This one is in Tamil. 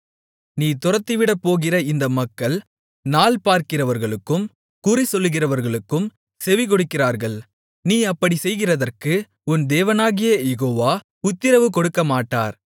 நீ துரத்திவிடப்போகிற இந்த மக்கள் நாள்பார்க்கிறவர்களுக்கும் குறிசொல்லுகிறவர்களுக்கும் செவிகொடுக்கிறார்கள் நீ அப்படிச் செய்கிறதற்கு உன் தேவனாகிய யெகோவா உத்திரவுகொடுக்கமாட்டார்